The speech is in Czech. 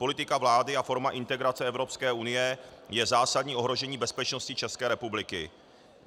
Politika vlády a forma integrace Evropské unie je zásadní ohrožení bezpečnosti České republiky.